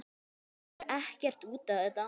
Gefur ekkert út á þetta.